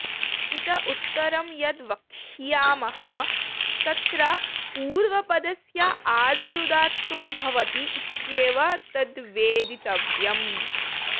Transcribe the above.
इत उत्तरं यद् वक्ष्यामः तत्र पूर्वपदस्य आदिरुदात्तो भवति इत्येवं तद्वेदितव्यम्